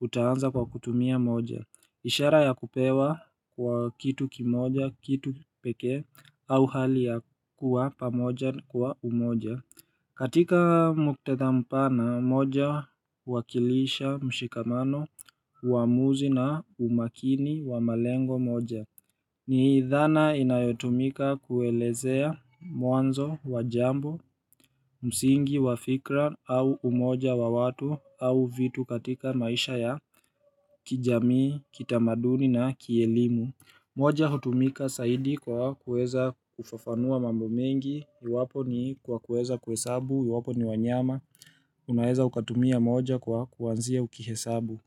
Utaanza kwa kutumia moja ishara ya kupewa kwa kitu kimoja, kitu pekee au hali ya kuwa pamoja kwa umoja katika muktadha mpana, moja huwakilisha mshikamano, waamuzi na umakini wa malengo moja. Ni idhana inayotumika kuelezea mwanzo wa jambo, msingi wa fikra au umoja wa watu au vitu katika maisha ya kijamii, kitamaduni na kielimu. Moja hutumika zaidi kwa kueza kufafanua mambo mengi, iwapo ni kwa kueza kuhesabu, iwapo ni wanyama, unaeza ukatumia moja kwa kuanzia ukihesabu.